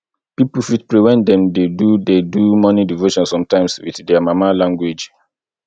pipo fit pray when dem dey do dey do morning devotion sometimes with their mama language